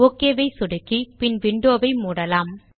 okay சொடுக்கி பின் window ஐ மூடலாம்